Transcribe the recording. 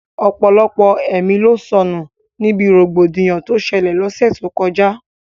Ọ̀pọ̀lọpọ̀ ẹ̀mí ló sọnù níbi rògbòdìyàn tó ṣẹlẹ̀ l'ọ́ṣẹ́ tó kọjá